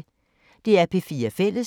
DR P4 Fælles